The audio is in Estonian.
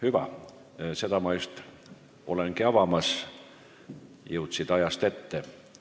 Hüva, neid ma just olengi avamas, jõudsid ajast ette.